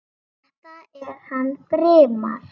Þetta er hann Brimar.